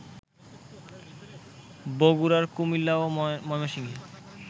বগুড়া, কুমিল্লা ও ময়মনসিংহে